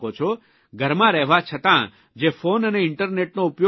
ઘરમાં રહેવા છતાં જે ફોન અને ઇન્ટરનેટનો ઉપયોગ કરી શકો છો